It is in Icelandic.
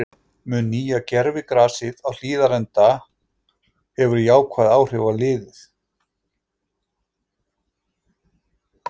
Mun nýja gervigrasið á Hlíðarenda hefur jákvæð áhrif á liðið?